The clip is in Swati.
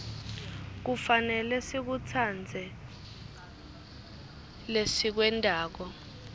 kufanele sikutsandze lesikwentako